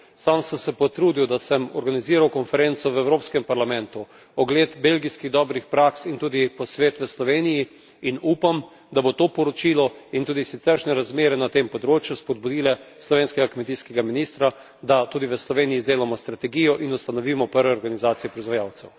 Sam sem se potrudil, da sem organiziral konferenco v Evropskem parlamentu, ogled belgijskih dobrih praks in tudi posvet v Sloveniji, in upam, da bo to poročilo in tudi siceršnje razmere na tem področju spodbudile slovenskega kmetijskega ministra, da tudi v Sloveniji izdelamo strategijo in ustanovimo prve organizacije proizvajalcev.